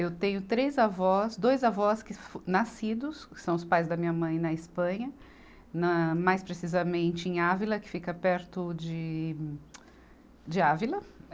Eu tenho três avós, dois avós que fo, nascidos, que são os pais da minha mãe na Espanha, na mais precisamente em Ávila, que fica perto de, de Ávila.